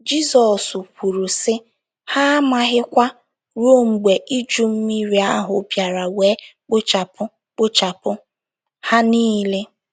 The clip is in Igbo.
Jizọs kwuru, sị: “ Ha amaghịkwa ruo mgbe iju mmiri ahụ bịara wee kpochapụ kpochapụ ha niile. ”